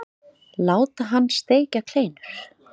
Láta hann steikja kleinur.